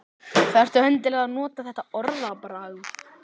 Fylgið þið nú Kötu heim í matinn